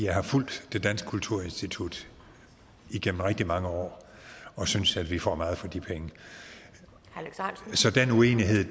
har fulgt det danske kulturinstitut igennem rigtig mange år og synes at vi får meget for de penge så